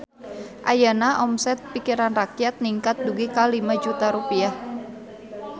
Ayeuna omset Pikiran Rakyat ningkat dugi ka 5 juta rupiah